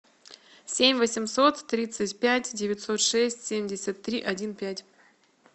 семь восемьсот тридцать пять девятьсот шесть семьдесят три один пять